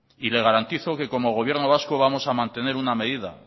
y le garantizo que como gobierno vasco vamos a mantener una medida